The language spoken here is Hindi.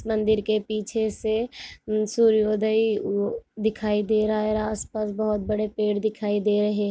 मंदिर के पीछे से सूर्य उदय दिखाई दे रहा और आस पास बहुत बड़े पेड़ दिखाई दे रहे